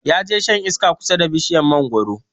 Ya je shan iska kusa da bishiyar mangoro